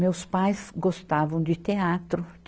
Meus pais gostavam de teatro.